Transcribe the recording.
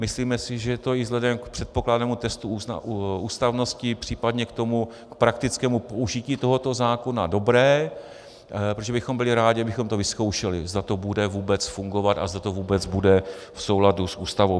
Myslíme si, že to je i vzhledem k předpokládanému testu ústavnosti, případně k praktickému použití tohoto zákona dobré, protože bychom byli rádi, abychom to vyzkoušeli, zda to bude vůbec fungovat a zda to vůbec bude v souladu s Ústavou.